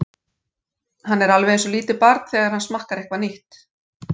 Hann er alveg einsog lítið barn, þegar hann smakkar eitthvað nýtt.